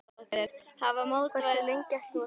Hversu lengi ætlar þú að spila?